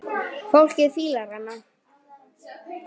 Fólkið fílar hana.